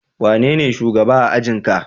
Wanene shugaba a ajin ka?